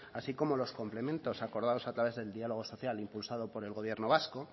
así como los complementos acordados a través del dialogo social impulsado por el gobierno vasco